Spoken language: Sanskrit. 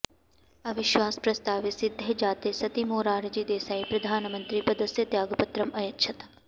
अविश्वासप्रस्तावे सिद्धे जाते सति मोरारजी देसाई प्रधामन्त्रिपदस्य त्यागपत्रम् अयच्छत्